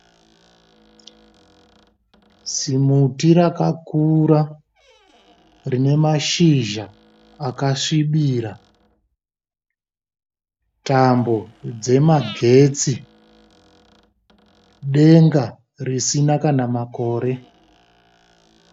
Zimuti rakakura rine mashizha akasvibira, tambo dzemagetsi denga risina kana makore.